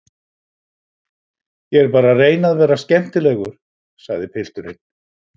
Ég er bara að reyna að vera skemmtilegur, sagði pilturinn.